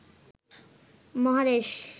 মহাদেশ